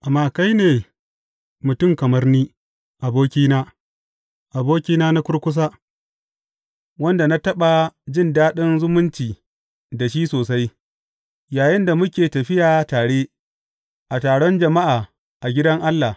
Amma kai ne, mutum kamar ni, abokina, abokina na kurkusa, wanda na taɓa jin daɗin zumunci da shi sosai yayinda muke tafiya tare a taron jama’a a gidan Allah.